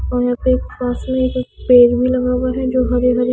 और यहां पे मौसमी पेड़ भी लगा हुआ है जो हरे हरे--